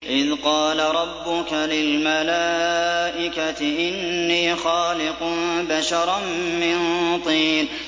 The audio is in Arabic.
إِذْ قَالَ رَبُّكَ لِلْمَلَائِكَةِ إِنِّي خَالِقٌ بَشَرًا مِّن طِينٍ